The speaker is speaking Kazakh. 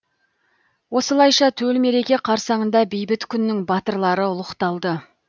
осылайша төл мереке қарсаңында бейбіт күннің батырлары ұлықталды